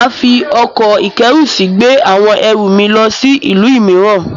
Màá fi ọkọ̀-ìkẹ́rùsí gbé àwọn erù mi lọ sí ìlú mìíràn